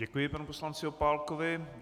Děkuji panu poslanci Opálkovi.